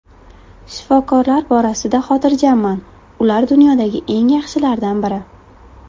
Shifokorlar borasida xotirjamman, ular dunyodagi eng yaxshilardan biri.